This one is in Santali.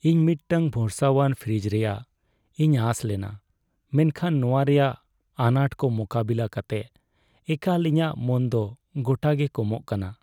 ᱤᱧ ᱢᱤᱫᱴᱟᱝ ᱵᱷᱚᱨᱚᱥᱟᱣᱟᱱ ᱯᱷᱨᱤᱡᱽ ᱨᱮᱭᱟᱜ ᱤᱧ ᱟᱥ ᱞᱮᱱᱟ ᱢᱮᱱᱠᱷᱟᱱ ᱱᱚᱣᱟ ᱨᱮᱭᱟᱜ ᱟᱱᱟᱴ ᱠᱚ ᱢᱳᱠᱟᱵᱤᱞᱟ. ᱠᱟᱛᱮ ᱮᱠᱟᱞ ᱤᱧᱟᱹᱜ ᱢᱚᱱ ᱫᱚ ᱜᱚᱴᱟ ᱜᱮ ᱠᱚᱢᱚᱜ ᱠᱟᱱᱟ ᱾